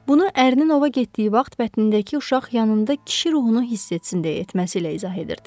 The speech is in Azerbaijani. Bunu ərinin ova getdiyi vaxt bətnindəki uşaq yanında kişi ruhunu hiss etsin deyə etməsilə izah edirdi.